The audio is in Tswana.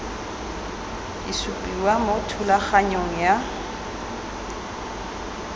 di supiwa mo thulaganyong ya